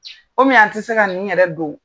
an tɛ se ka nin yɛrɛ don